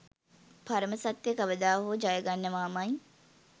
පරම සත්‍ය කවදා හෝ ජයගන්නවාමයි.